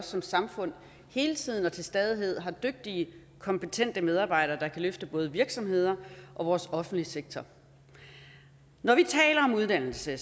som samfund hele tiden og til stadighed har dygtige og kompetente medarbejdere der kan løfte både virksomheder og vores offentlige sektor når vi taler om uddannelse